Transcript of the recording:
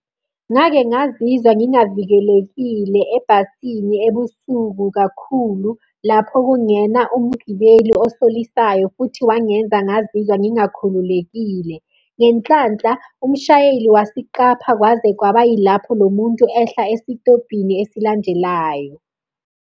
Ngake ngazizwa ngingavikelekile ebhasini ebusuku kakhulu lapho kungena umgibeli osolisayo futhi wangenza ngazizwa ngingakhululekile. Ngenhlanhla umshayeli wasiqapha kwaze kwaba yilapho lo muntu ehla esitobhini esilandelayo.